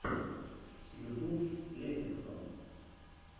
ютюб лесиксам